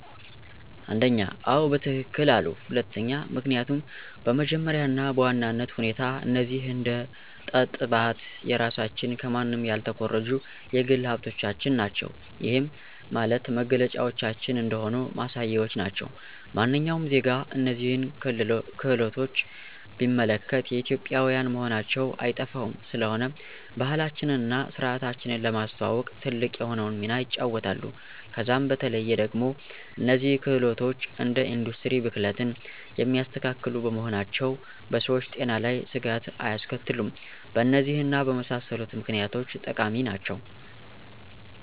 1, አዎ በትክክል አሉ፤ 2, ምክኒያቱም በመጀመሪያ እና በዋናነት ሁኔታ እነዚህ አደ ጠጥባት የራሳችን ከማንም ያልተኮረጁ የግል ሀብቶቻችን ናቸው። ይህም ማለት መገለጫዎቻችን እንደሆኑ ማሳያዎች ናቸው። ማንኛውም ዜጋ እነዚህን ክህሎቶች ቢመለከት የኢትዮጵዊያን መሆናቸው አይጠፋውም፤ ስለሆነም ባህላችንን እና ስርዓታችንን ለማስተዋወቅ ትልቅ የሆነውን ሚና ይጫወታሉ። ከዛም በተለዬ ደግሞ እነዚህ ክህሎቶች እንደ ኢንዱስትሪ ብክለትን የማያስከትሉ በመሆናቸው በሰዎች ጤና ላይ ስጋት አያስከትሉም። በእነዚህ እና በመሳሰሉት ምክኒያቶች ጠቃሚ ናቸው።